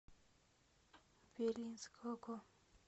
белинского